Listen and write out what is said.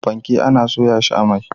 Fanke ana soya shi a mai.